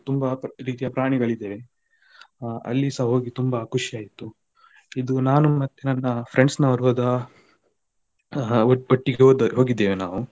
ತುಂಬ ರೀತಿಯ ಪ್ರಾಣಿಗಳಿದ್ದವೆ ಹ ಅಲ್ಲಿಸಾ ಹೋಗಿ ತುಂಬ ಖುಷಿ ಆಯ್ತು ಇದು ನಾನು ಮತ್ತೆ ನನ್ನ friends ನವರು ಹೋದ ಅ ಒಟ್ಟಿಗೆ ಹೊ~ ಹೋಗಿದ್ದೇವೆ ನಾವು.